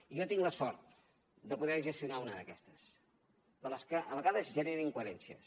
jo tinc la sort de poder ne gestionar una d’aquestes de les que a vegades generen incoherències